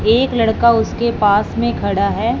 एक लड़का उसके पास में खड़ा है।